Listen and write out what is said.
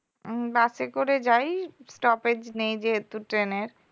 উম bus এ করে যাই stoppage নেই যেহেতু train এর